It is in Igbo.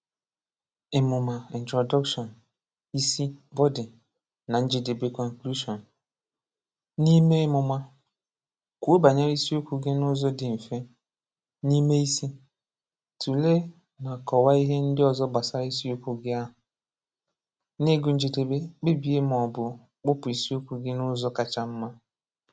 Ịmụma (Introduction), isi (Body), na njedebe (Conclusion). N’ime ịmụma, kwuo banyere isiokwu gị n’ụzọ dị mfe. N’ime isi, tụlee na kọwaa ihe ndị ọzọ gbasara isiokwu ahụ. N’ịgụ njedebe, kpebie ma ọ bụ kpụpụ isiokwu gị n’ụzọ kacha mma.